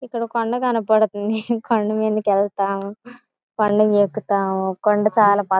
ఇక్కడ కొండ కనబడతంది. కొండ మీదకెళతాం . కొండని ఎక్కుతాం. కొండ చాలా పచ్ --